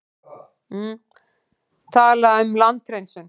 Talaði um landhreinsun.